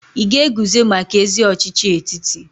Ị ga-eguzo maka ezi ọchịchị etiti?